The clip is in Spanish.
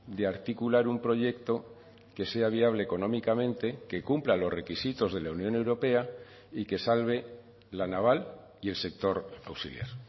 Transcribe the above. de articular un proyecto que sea viable económicamente que cumpla los requisitos de la unión europea y que salve la naval y el sector auxiliar